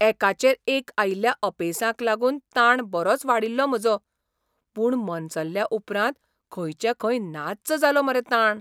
एकाचेर एक आयिल्ल्या अपेसांक लागून ताण बरोच वाडिल्लो म्हजो, पूण मनसल्ल्या उपरांत खंयचे खंय नाच्च जालो मरे ताण!